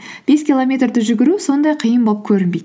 бес километрді жүгіру сондай қиын болып көрінбейді